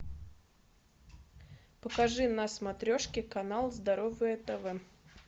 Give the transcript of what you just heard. покажи на смотрешке канал здоровое тв